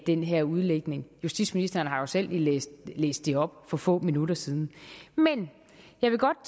den her udlægning justitsministeren har jo selv lige læst læst det op for få minutter siden men jeg vil godt